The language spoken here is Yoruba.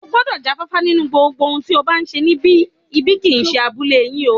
O gbọ́dọ̀ já fáfá nínú gbogbo ohun tí o bá ń ṣe níbi, ibi kì í ṣe abúlé yín o